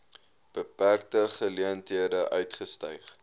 beperkte geleenthede uitgestyg